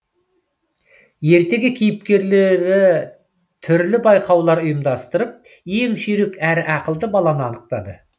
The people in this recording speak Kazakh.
ертегі кейіпкерлері түрлі байқаулар ұйымдастырып ең жүйрік әрі ақылды баланы анықтады